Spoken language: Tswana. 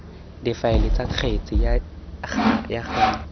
difaele tsa kgetse ga jaana